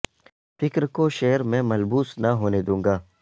فکر کو شعر میں ملبوس نہ ہونے دوں گا